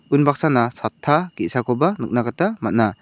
un baksana sata ge·sakoba nikna gita man·a.